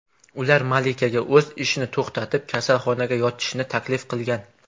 Ular malikaga o‘z ishini to‘xtatib, kasalxonaga yotishni taklif qilgan.